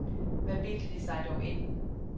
Hvad bildte de sig dog ind?